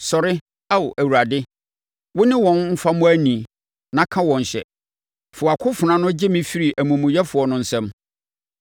Sɔre, Ao Awurade! Wone wɔn mfa mmɔ ani na ka wɔn hyɛ; fa wʼakofena no gye me firi amumuyɛfoɔ no nsam.